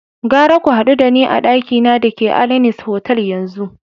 Gara ku hadu da ni a dakina da ke Alanis Hotel yanzu!